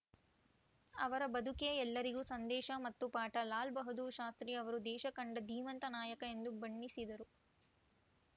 ಅವರ ಬದುಕೇ ಎಲ್ಲರಿಗೂ ಸಂದೇಶ ಮತ್ತು ಪಾಠ ಲಾಲ್‌ ಬಹದ್ದೂರ್‌ ಶಾಸ್ತ್ರಿ ಅವರು ದೇಶ ಕಂಡ ಧೀಮಂತ ನಾಯಕ ಎಂದು ಬಣ್ಣಿಸಿದರು